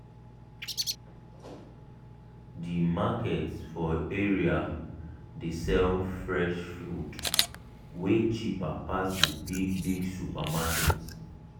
the market for area dey sell fresh food way cheaper pass the big big supermarket